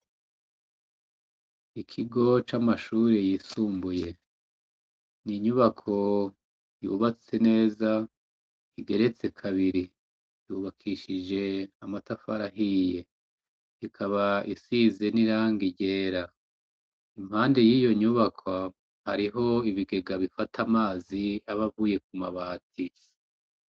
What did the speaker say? Ikigo c'amashuri yisumbuye ni inyubako yubatse neza, igeretse kabiri yubakishije amatafari ahiye, ikaba isize n'iranga iryera, impande y'iyo nyubakwa hariho ibige bigabifata amazi abavuye ku mabati.